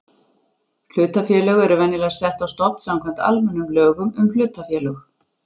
Hlutafélög eru venjulega sett á stofn samkvæmt almennum lögum um hlutafélög.